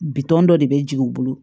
Bitɔn dɔ de bɛ jigin u bolo